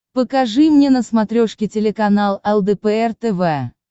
покажи мне на смотрешке телеканал лдпр тв